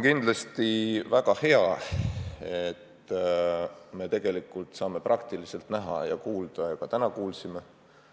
Tegelikult on väga hea, et me saame lausa praktiliselt näha ja kuulda – ka täna kuulsime